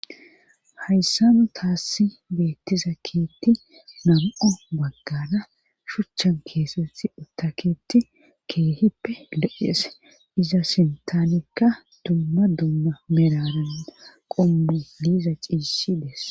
hayssa mu taassi beettizakkeetti nam7o baggana shuchchan keesett uttaketi keehippe le7eese iza sintaanekka dumma dumma merarana qommu liiza ciisshi deess